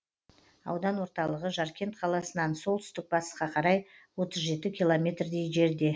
аудан орталығы жаркент қаласынан солтүстік батысқа қарай отыз жеті километрдей жерде